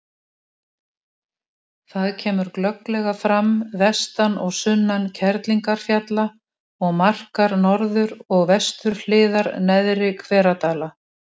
Það er grundvallarregla í heiminum að hlutir sem koma saman leitast við að ná varmajafnvægi.